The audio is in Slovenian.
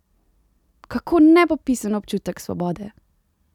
Kako nepopisen občutek svobode!